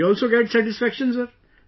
We also get satisfaction sir